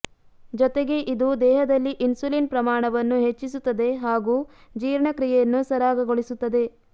ಜೊತೆಗೆ ಇದು ದೇಹದಲ್ಲಿ ಇನ್ಸುಲಿನ್ ಪ್ರಮಾಣವನ್ನು ಹೆಚ್ಚಿಸುತ್ತದೆ ಹಾಗು ಜೀರ್ಣಕ್ರಿಯೆಯನ್ನು ಸರಾಗಗೊಳಿಸುತ್ತದೆ